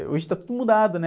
Hoje está tudo mudado, né?